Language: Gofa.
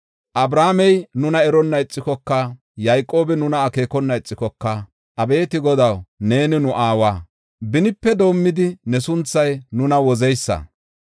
Abrahaamey nuna eronna ixikoka, Yayqoobi nuna akeekona ixikoka, abeeti Godaw, neeni nu aawa; benipe doomidi, ne sunthay nuna wozeysa.